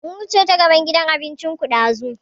Mun wuce ta gaban gidan abincin ku ɗazu